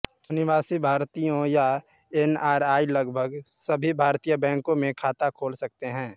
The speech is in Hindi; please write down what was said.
अनिवासी भारतीयों या एनआरआई लगभग सभी भारतीय बैंकों में खाता खोल सकते हैं